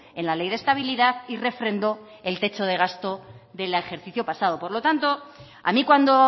en la ley de estabilidad y refrendó el techo de gasto del ejercicio pasado por lo tanto a mí cuando